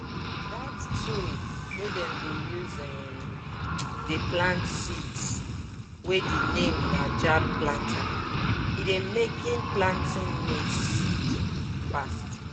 dat tool wey dem dey use um dey plant seeds wey de name na jab planter e dey making planting maize seed fast